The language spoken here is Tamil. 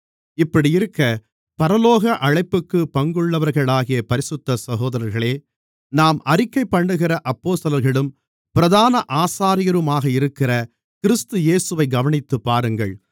இப்படியிருக்க பரலோக அழைப்புக்குப் பங்குள்ளவர்களாகிய பரிசுத்த சகோதரர்களே நாம் அறிக்கைபண்ணுகிற அப்போஸ்தலர்களும் பிரதான ஆசாரியருமாக இருக்கிற கிறிஸ்து இயேசுவைக் கவனித்துப்பாருங்கள்